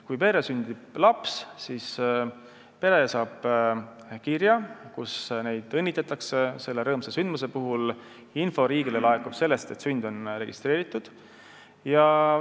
Kui perre sünnib laps, siis pere saab kirja, kus neid õnnitletakse selle rõõmsa sündmuse puhul, info riigile laekub sellest, et sünd on registreeritud.